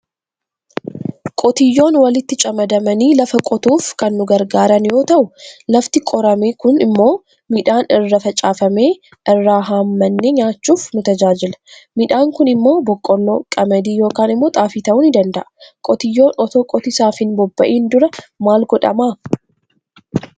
Qotiyyoon walitti camadamani lafa qotuuf kan nu gargaaran yoo ta'u lafti qorame sun immoo midhaan irra facaafamee irra haammanne nyaachuf nu tajaajila midhan sun immo boqqollo, qamadii yookan immoo xaafii ta'u ni danda'a. Qotiyyoon oto qotisaaf hin boobba'iin dura maal godhama?